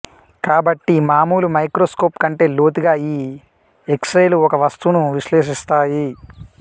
కాబట్టి మామూలు మైక్రోస్కోప్ కంటే లోతుగా ఈ ఎక్స్రేలు ఒక వస్తువును విశ్లేశిస్తాయి